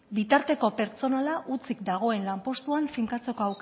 bitarteko pertsonala hutsik dagoen lanpostuan finkatzeko